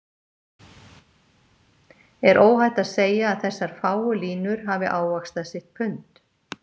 er óhætt að segja að þessar fáu línur hafi ávaxtað sitt pund.